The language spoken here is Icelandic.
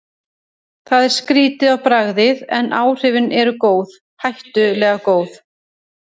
Það er skrýtið á bragðið, en áhrifin eru góð, hættulega góð.